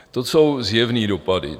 To jsou zjevné dopady.